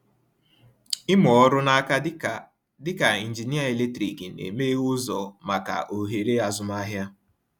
Ịmụ ọrụ n’aka dịka dịka injinia eletrik na-emeghe ụzọ maka ohere azụmahịa.